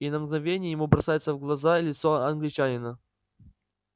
и на мгновение ему бросается в глаза лицо англичанина